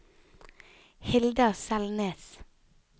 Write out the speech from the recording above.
Hilda Selnes